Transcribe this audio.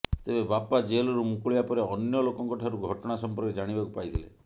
ତେବେ ବାପା ଜେଲରୁ ମୁକିଳିବା ପରେ ଅନ୍ୟ ଲୋକଙ୍କ ଠାରୁ ଘଟଣା ସମ୍ପର୍କରେ ଜାଣିବାକୁ ପାଇଥିଲେ